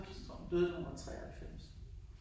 Så tror jeg hun døde da hun var 93